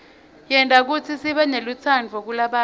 yenta kutsi sibenelutsaadvu kulabanye